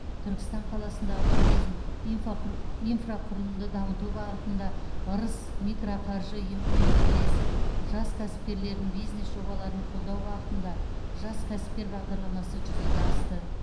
түркістан қаласындағы туризм инфақұры инфрақұрылымды дамыту бағытында ырыс микроқаржы ұйымымен бірлесіп жас кәсіпкерлердің бизнес жобаларын қолдау бағытында жас кәсіпкер бағдарламасы жүзеге асты